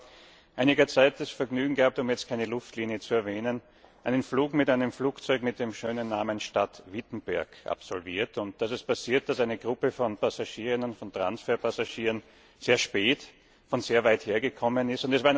Ich habe vor einiger Zeit das Vergnügen gehabt, um jetzt keine Fluglinie zu erwähnen, einen Flug mit einem Flugzeug mit dem schönen Namen Stadt Wittenberg zu absolvieren, und da ist es passiert, dass eine Gruppe von Transferpassagieren sehr spät und von sehr weit her gekommen ist.